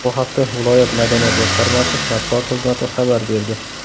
Bu haqda viloyat madaniyat boshqarmasi matbuot xizmati xabar berdi.